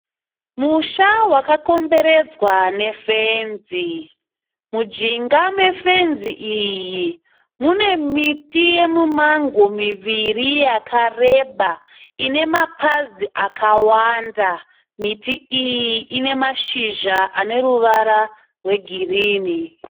Musha wakakomberedzwa ne fenzi. Mujinga mefenzi iyi mune miti yemumango miviri yakareba ine mapazi akawanda. Miti iyi ine mashizha aneruvara rwe girini.